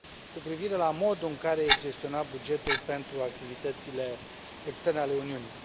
cu privire la modul în care este gestionat bugetul pentru activitățile externe ale Uniunii.